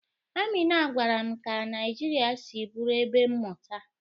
Amina gwara m ka Naijiria si bụrụ ebe mmụta.